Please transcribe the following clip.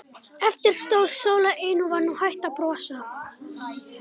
Eftir stóð Sóla ein og var nú hætt að brosa.